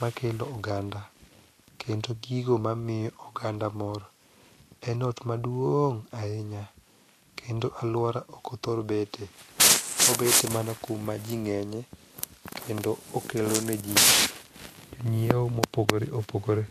makelo oganda, kendo gigo mamiyo oganda mor, en ot maduong' ahinya kendo alwora okothor bete obet mana kuma ji ng'enye kendo okelo ne ji jonyieo mopogore opogore.